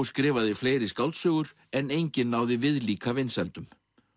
skrifaði fleiri skáldsögur en engin náði viðlíka vinsældum